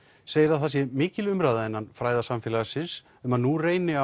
segir að það sé mikil umræða innan fræðasamfélagsins um að nú reyni